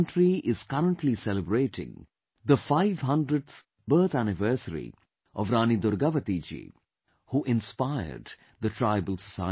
The country is currently celebrating the 500th Birth Anniversary of Rani Durgavati Ji, who inspired the tribal society